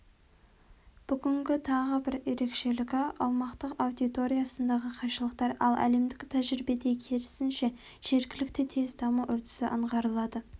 бүгінгі тағы бір ерекшелігі аумақтық аудиториясындағы қайшылықтар ал әлемдік тәжірибеде керісінше жергілікті тез даму үрдісі аңғарылады